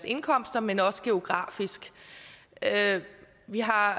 indkomster men også geografisk vi har